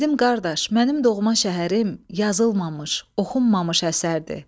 Dedim qardaş, mənim doğma şəhərim yazılmamış, oxunmamış əsərdir.